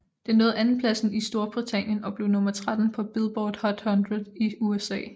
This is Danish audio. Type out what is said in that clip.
Den nåede andenpladsen i Storbritannien og blev nummer 13 på Billboard Hot 100 i USA